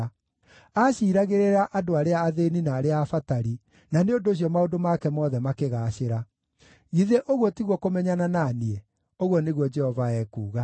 Aaciiragĩrĩra andũ arĩa athĩĩni na arĩa abatari, na nĩ ũndũ ũcio maũndũ make mothe makĩgaacĩra. Githĩ ũguo tiguo kũmenyana na niĩ?” ũguo nĩguo Jehova ekuuga.